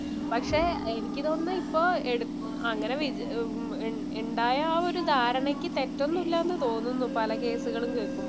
പക്ഷേ എനിക്ക് തോന്നുന്നു ഇപ്പോ എടുത്ത അങ്ങനെ വിചാരിച്ചാ ഇണ്ടായ ഒരു ധാരണയ്ക്ക് തെറ്റൊന്നും ഇല്ലാന്ന് തോന്നുന്നു പല കേസുകളും കേക്കുമ്പോ